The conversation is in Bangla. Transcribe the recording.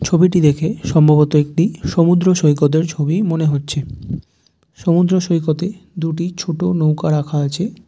ছবিটি দেখে সম্ভবত একটি সমুদ্র সৈকতের ছবি মনে হচ্ছে সমুদ্র সৈকতে দুটি ছোট নৌকা রাখা আছে ।